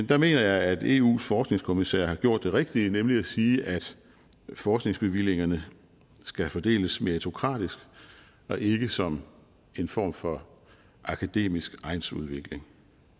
der mener jeg at eus forskningskommissær har gjort det rigtige nemlig at sige at forskningsbevillingerne skal fordeles meritokratisk og ikke som en form for akademisk egnsudvikling